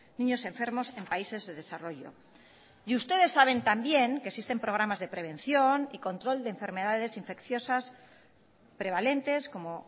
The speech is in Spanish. niños enfermos en países de desarrollo y ustedes saben también que existen programas de prevención y control de enfermedades infecciosas prevalentes como